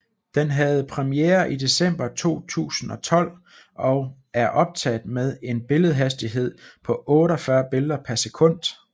Den havde premiere i december 2012 og er optaget med en billedhastighed på 48 billeder per sekund